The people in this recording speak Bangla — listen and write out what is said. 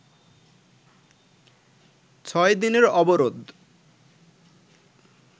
ছয় দিনের অবরোধ